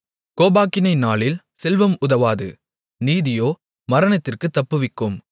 கோபாக்கினை நாளில் செல்வம் உதவாது நீதியோ மரணத்திற்குத் தப்புவிக்கும்